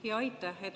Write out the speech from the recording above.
Aitäh!